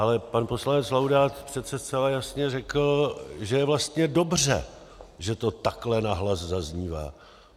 Ale pan poslanec Laudát přece zcela jasně řekl, že je vlastně dobře, že to takhle nahlas zaznívá.